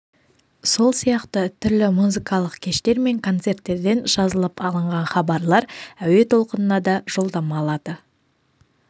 сол сияқты түрлі музыкалық кештер мен концерттерден жазылып алынған хабарлар әуе толқынына да жолдама алады